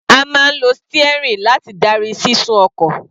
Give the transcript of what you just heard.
A máa ń lo steering láti darí sísún ọkọ̀.